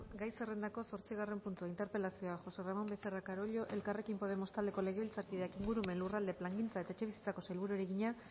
gai zerrendako zortzigarren puntua interpelazioa josé ramón becerra carollo elkarrekin podemos taldeko legebiltzarkideak ingurumen lurralde plangintza eta etxebizitzako sailburuari egina